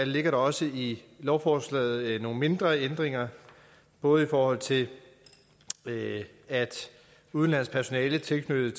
ligger der også i lovforslaget nogle mindre ændringer både i forhold til at udenlandsk personale tilknyttet